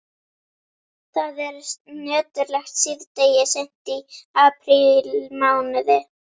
Það er nöturlegt síðdegi seint í aprílmánuði.